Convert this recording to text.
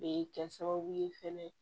Be kɛ sababu ye fɛnɛ